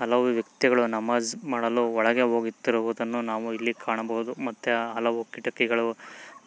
ಹಲವು ವ್ಯಕ್ತಿಗಳು ನಮಾಜ್ ಮಾಡಲು ಒಳಗೆ ಹೋಗತ್ತಿರುವುದನ್ನು ಇಲ್ಲಿ ಕಾಣಬಹುದು ಮತ್ತೆ ಹಲವು ಕಿಟಕಿಗಳನ್ನು